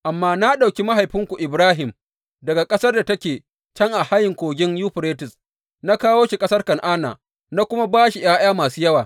Amma na ɗauki mahaifinku Ibrahim, daga ƙasar da take can a hayin Kogin Yuferites, na kawo shi ƙasar Kan’ana, na kuma ba shi ’ya’ya masu yawa.